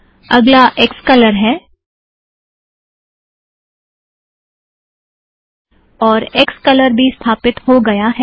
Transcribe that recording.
अगला क्सकलर है और क्सकलर भी स्थापित हो गया है